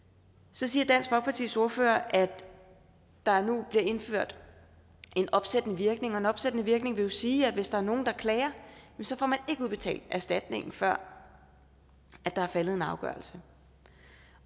så siger dansk folkepartis ordfører at der nu bliver indført opsættende virkning og opsættende virkning vil jo sige at hvis der er nogle der klager får man ikke udbetalt erstatningen før der er faldet en afgørelse